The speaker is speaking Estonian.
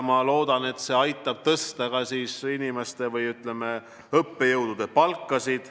Ma loodan, et see aitab tõsta ka õppejõudude palka.